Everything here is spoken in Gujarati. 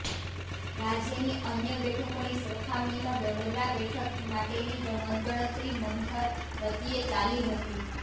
રાજ્યની અન્ય બેઠકોની સરખામણીમાં વડોદરા બેઠક માટેની મતગણતરી મંથર ગતિએ ચાલી હતી